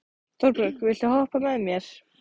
Torbjörg, viltu hoppa með mér?